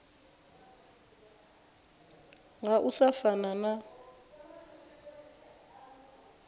nga u sa fana na